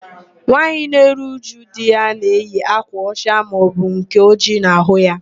Nwaanyị na-eru újú di ya na-eyi ákwà ọcha maọbụ nke ojii n'ahụ ya.